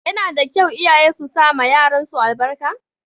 Yana da kyau iyaye su sama yaran su albarka.